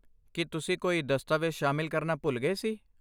ਕੀ ਤੁਸੀਂ ਕੋਈ ਦਸਤਾਵੇਜ਼ ਸ਼ਾਮਿਲ ਕਰਨਾ ਭੁੱਲ ਗਏ ਸੀ?